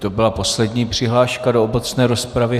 To byla poslední přihláška do obecné rozpravy.